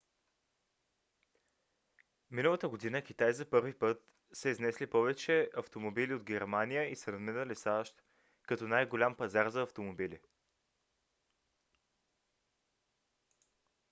миналата година китай за първи път са изнесли повече автомобили от германия и са надминали сащ като най-голям пазар за автомобили